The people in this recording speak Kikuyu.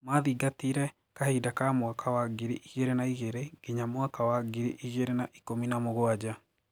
Mathingatiire kahinda kaa mwaka wa ngiri igĩrĩ na igĩrĩ nginya mwaka wa ngiri igĩrĩ na ikũmi na mũgwanja.